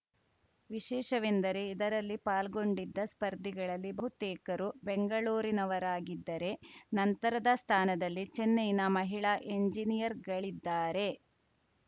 ವಿಶೇಷವೆಂದರೆ ಇದರಲ್ಲಿ ಪಾಲ್ಗೊಂಡಿದ್ದ ಸ್ಪರ್ಧಿಗಳಲ್ಲಿ ಬಹುತೇಕರು ಬೆಂಗಳೂರಿನವರಾಗಿದ್ದರೆ ನಂತರದ ಸ್ಥಾನದಲ್ಲಿ ಚೆನ್ನೈನ ಮಹಿಳಾ ಎಂಜಿನಿಯರ್‌ಗಳಿದ್ದಾರೆ